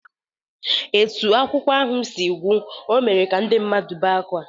Etu akụkọ ahụ si gwụ, o mere ka ndị mmadụ bee akwa